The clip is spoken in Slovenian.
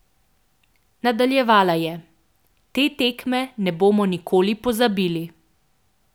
Nadaljevala je: "Te tekme ne bomo nikoli pozabili.